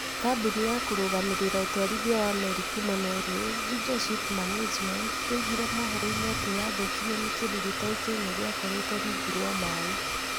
Kambuni ya kũrũgamĩrĩra ũtwarithia wa meri kuuma Norway, Juja Ship Management, yoigire mohoro-inĩ atĩ nĩ yathũkirio nĩ kĩndũ gĩtoĩkaine gĩakoretwo rungu rwa maĩ.